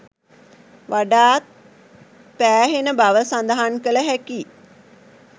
වඩාත් පෑහෙන බව සඳහන් කළ හැකියි